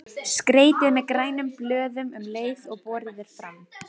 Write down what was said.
Skreytið með grænum blöðum um leið og borið er fram.